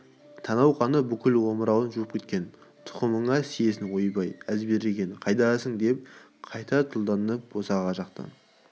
танау қаны бүкіл омырауын жуып кеткен тұқымыңа сиейін ойбай әзберген қайдасың деп қайта тұлданып босаға жақта